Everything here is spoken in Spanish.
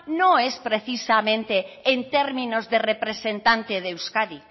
no es precisamente en términos de representante de euskadi